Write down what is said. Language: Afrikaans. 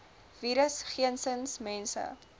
virus geensins mense